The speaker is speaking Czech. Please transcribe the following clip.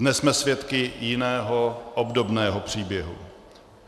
Dnes jsme svědky jiného, obdobného příběhu.